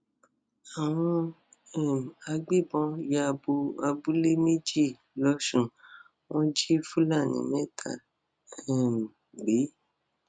àwọn um agbébọn ya bo abúlé méjì lọsùn wọn jí fúlàní mẹta um gbé